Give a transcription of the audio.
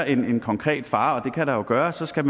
en konkret fare kan der jo gøre skal